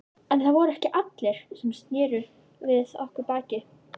En það voru ekki allir sem sneru við okkur baki.